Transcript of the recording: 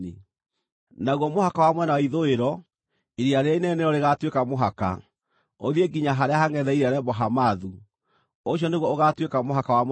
Naguo mũhaka wa mwena wa ithũĩro, Iria Rĩrĩa Inene nĩrĩo rĩgaatuĩka mũhaka, ũthiĩ nginya harĩa hangʼetheire Lebo-Hamathu. Ũcio nĩguo ũgaatuĩka mũhaka wa mwena wa ithũĩro.